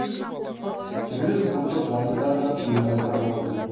түрлі спорттық жарыстар да ұйымдастырылып отыр